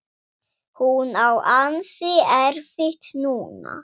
Hún á ansi erfitt núna.